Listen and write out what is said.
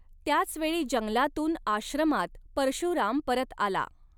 त्याच वेळी जंगलातून आश्रमात परशुराम परत आला.